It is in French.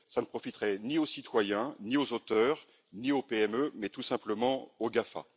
Ça ne profiterait ni aux citoyens, ni aux auteurs, ni aux PME, mais tout simplement aux GAFA.